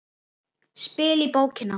Spil í bókina.